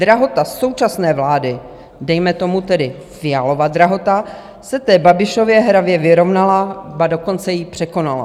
Drahota současné vlády, dejme tomu tedy Fialova drahota, se té Babišově hravě vyrovnala, ba dokonce ji překonala.